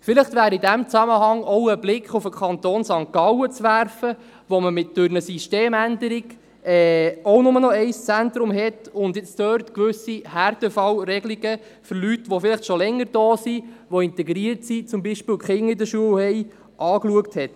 Vielleicht wäre in diesem Zusammenhang auch ein Blick auf den Kanton St. Gallen zu werfen, wo man durch eine Systemänderung auch nur noch ein Zentrum hat und dort gewisse Härtefallregelungen für Leute, die vielleicht schon länger hier sind, die integriert sind, deren Kinder zum Beispiel zur Schule gehen, angeschaut hat.